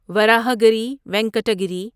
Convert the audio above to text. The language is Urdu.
وراہاگری وینکٹا گیری